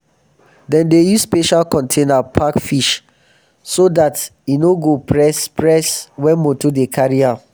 dem dey use special container pack fish so dat en no go press press wen moto dey carry am.